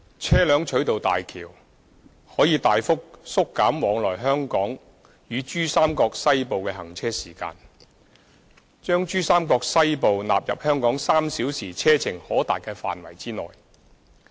車輛取道大橋，可大幅縮減往來香港與珠三角西部的行車時間，將珠三角西部納入香港3小時車程可達的範圍內。